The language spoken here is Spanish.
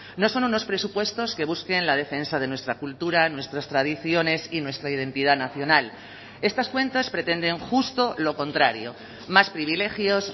no son unos presupuestos que busquen la defensa de nuestra cultura nuestras tradiciones y nuestra identidad nacional estas cuentas pretenden justo lo contrario más privilegios